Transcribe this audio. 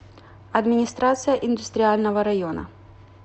администрация индустриального района